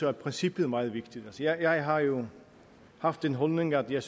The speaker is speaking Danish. er princippet meget vigtigt jeg har jo haft den holdning at jeg